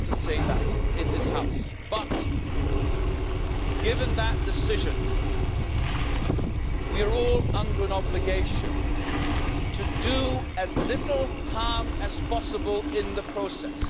I want to say that in this House, but, given that decision, we are all under an obligation to do as little harm as possible in the process.